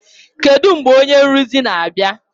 Kedu mgbe onye nrụzi na-abịa?